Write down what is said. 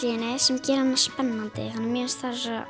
í henni sem gerir hana spennandi sem mér finnst